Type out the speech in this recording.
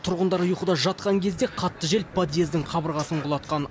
тұрғындар ұйқыда жатқан кезде қатты жел подъездің қабырғасын құлатқан